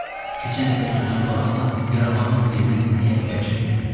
Keçən dəfə sözünə qulaq asdım, yaramazın birinə həyat bəxş etdim.